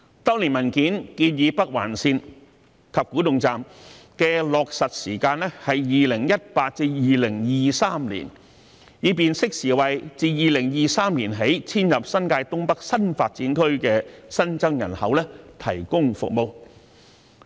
當年文件建議北環綫及古洞站的落實時間是2018年至2023年，以便適時為自2023年起遷入新界東北新發展區的新增人口提供服務。